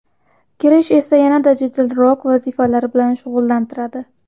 Kirsh esa yanada jadalroq vazifalar bilan shug‘ullantiradi.